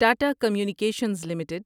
Tata Communications limited